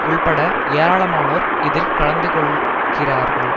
உள்பட ஏராளமானோர் இதில் கலந்து கொள்கிறார்கள்